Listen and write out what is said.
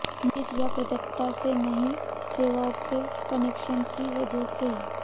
नियोजित या प्रदाता से नई सेवाओं के कनेक्शन की वजह से